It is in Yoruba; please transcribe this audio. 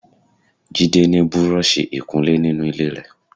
Jide ni búrọ̀ọ̀ṣì ìkunlé ninu ile rẹ.